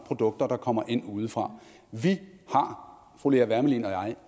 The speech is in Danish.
produkter der kommer ind udefra fru lea wermelin og jeg